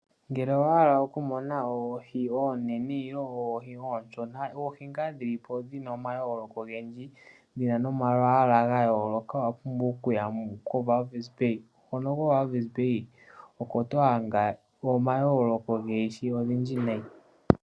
Ngele owa hala oku mona oohi oonene nenge oohi onshona dhoma yoloko ogendji, dhayolokathana momalwala owa pumbwa owala oku ya koWalvis bay. Ko Walvis bay oko to adha omayoloko goohi odhindji nayi.